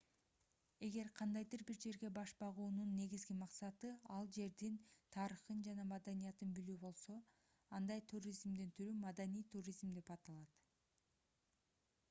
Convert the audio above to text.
эгер кандайдыр бир жерге баш баагунун негизги максаты ал жердин тарыхын жана маданиятын билүү болсо андай туризмдин түрү маданий туризм деп аталат